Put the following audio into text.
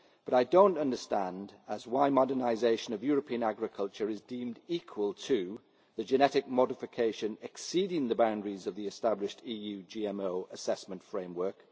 But I do not understand why modernisation of European agriculture is deemed equal to the genetic modification exceeding the boundaries of the established EU GMO assessment framework